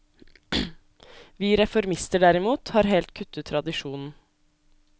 Vi reformister derimot, har helt kuttet tradisjonen.